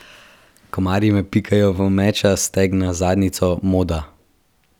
Komarji me pikajo v meča, stegna, zadnjico, moda.